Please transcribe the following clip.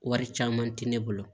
Wari caman tɛ ne bolo